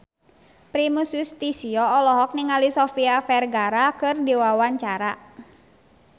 Primus Yustisio olohok ningali Sofia Vergara keur diwawancara